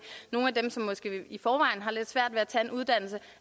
nogle af dem som måske i forvejen har lidt svært ved at tage en uddannelse